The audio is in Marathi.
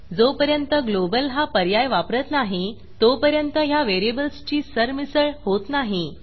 जोपर्यंत ग्लोबल हा पर्याय वापरत नाही तोपर्यंत ह्या व्हेरिएबल्सची सरमिसळ होत नाही